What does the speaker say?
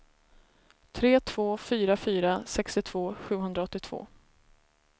tre två fyra fyra sextiotvå sjuhundraåttiotvå